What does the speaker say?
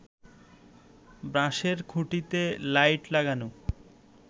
বাঁশের খুঁটিতে লাইট লাগানো